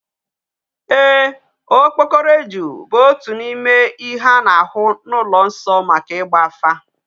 Eeh, okpokoro eju bu otu n'ime ihe a na-ahu n'ulo nso maka igba afa.